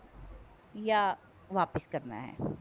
ਜਾਂ ਵਾਪਿਸ ਕਰਨਾ ਹੈ